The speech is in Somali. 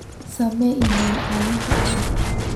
samee iimaayl ciwaankan cusub